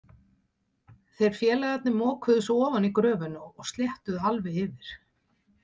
Þeir félagarnir mokuðu svo ofan í gröfina og sléttuðu alveg yfir.